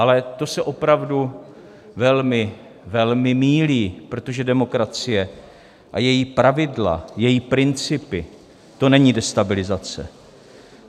Ale to se opravdu velmi, velmi mýlí, protože demokracie a její pravidla, její principy, to není destabilizace.